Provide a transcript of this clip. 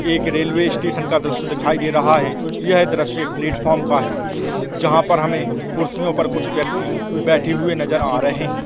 एक railway station का दृश्य दिखाई दे रहा है ये दृश्य एक प्लेट फ्रॉम का है जहाँ पर हमें कुर्सियों पे कुछ व्यक्ति बैठे हुए नज़र आ रहे है ।